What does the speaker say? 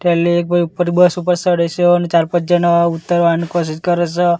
ઉપર બસ ઉપર સડે સે અન ચાર પાંચ જણા ઉતરવાનું કોસીસ કરે સ.